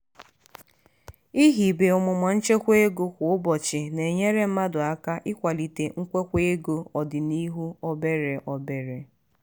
ihibe omume nchebe ego kwa ụbọchị na-enyere mmadụ aka ikwalite nkwekwa ego ọdịnuhụ obere obere.